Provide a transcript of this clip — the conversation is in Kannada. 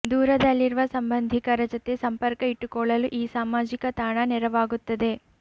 ದೂರದಲ್ಲಿರುವ ಸಂಬಂಧಿಕರ ಜತೆ ಸಂಪರ್ಕ ಇಟ್ಟುಕೊಳ್ಳಲು ಈ ಸಾಮಾಜಿಕ ತಾಣ ನೆರವಾಗುತ್ತದೆ